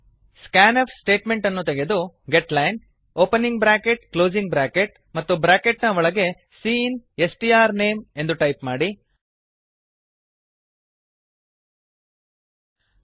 scan F statement ಅನ್ನು ತೆಗೆದು getline opening bracket closing bracket ಮತ್ತು ಬ್ರಾಕೆಟ್ ನ ಒಳಗೆ cin S T R name getlinecinಸ್ಟ್ರ್ನೇಮ್ ಎಂದು ಟೈಪ್ ಮಾಡಿ